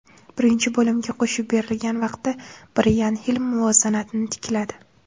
Birinchi bo‘limga qo‘shib berilgan vaqtda Brayan Hil muvozanatni tikladi.